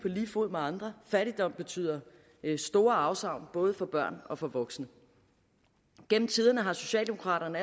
lige fod med andre fattigdom betyder store afsavn både for børn og for voksne gennem tiderne har socialdemokraterne